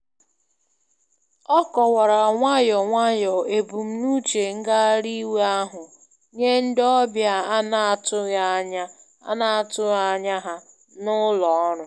Na mberede ngbakọta n'èzí mere ka nnyefe gbuo oge, mana ihe niile alaghachila alaghachila n'usoro.